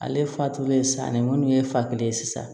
Ale fatulen sanni munnu ye fa kelen ye sisan